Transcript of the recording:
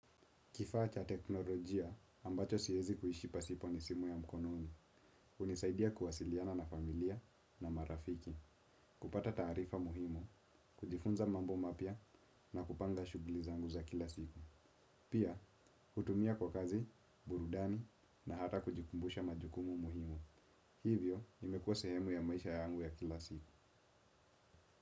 Kifaa cha teknolojia ambacho siezi kuishi pasipo ni simu ya mkonomi, hunisaidia kuwasiliana na familia na marafiki, kupata taarifa muhimu, kujifunza mambo mapya na kupanga shugli zangu za kila siku. Pia, hutumia kwa kazi, burudani na hata kujikumbusha majukumu muhimu. Hivyo, imekuwa sehemu ya maisha yangu ya kila siku.